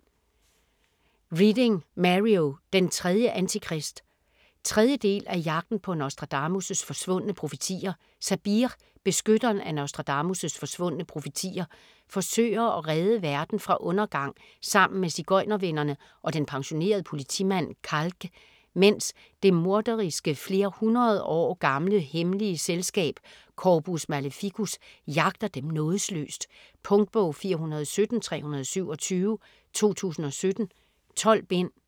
Reading, Mario: Den tredje Antikrist 3. del af Jagten på Nostradamus' forsvundne profetier. Sabir, beskytteren af Nostradamus' forsvundne profetier, forsøger at redde verden fra undergang sammen med sigøjnervennerne og den pensionerede politimand Calque, medens det morderiske, flere hundrede år gamle hemmelige selskab, Corpus Maleficus, jagter dem nådesløst. Punktbog 417327 2017. 12 bind.